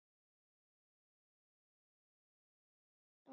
Þeir hafa því nokkuð góða sýn yfir ástandið.